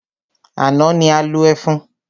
Àná ni a lo ẹfun.